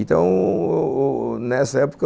Então o o, nessa época,